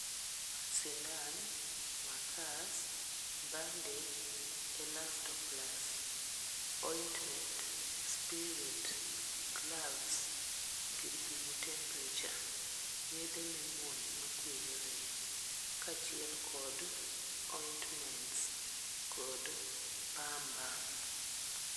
Sindan, makas, bandage, elastoplus, ointment, spirit, gloves, gir pimo t[sc]emperature, yedhe mimuonyo makweyo rem kachiel kod ointments kod pamba